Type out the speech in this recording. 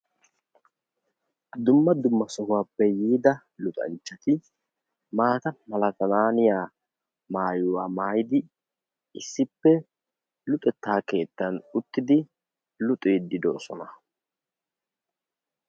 Dumma dumma sohuwappe yiidaa luxanchchati maata malatananniya maayyuwa maayyidi issippe luxetta keettan uttidi luxiidi de'oosona.